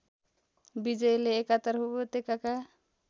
विजयले एकातर्फ उपत्यकाका